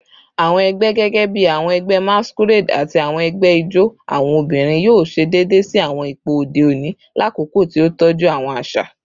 Awọn ẹgbẹ, gẹgẹbi awọn ẹgbẹ masquerade ati awọn ẹgbẹ ijó awọn obinrin, yoo ṣe deede si awọn ipo ode oni lakoko ti o tọju awọn aṣa